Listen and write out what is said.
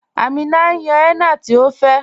Àmínà ǹ yán henna tí ọ fẹ́